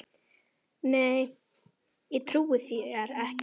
Nei, ég trúi þér ekki.